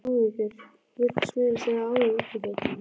Hún virtist meira að segja áhyggjufull.